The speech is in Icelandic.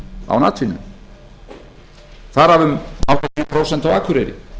án atvinnu þar af um áttatíu prósent á akureyri